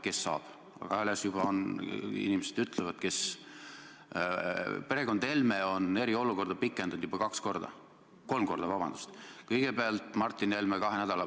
Teisalt, strateegiline partnerlus ei ole mitte nime pärast strateegiline partnerlus, vaid ministeerium on ju oma prioriteedid seadnud, mis on väga sügavalt seotud riigi enda tegevuste ja arengukavadega.